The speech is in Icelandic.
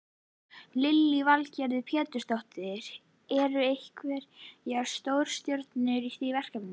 Lillý Valgerður Pétursdóttir: Eru einhverjar stórstjörnur í því verkefni?